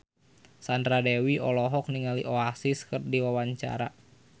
Sandra Dewi olohok ningali Oasis keur diwawancara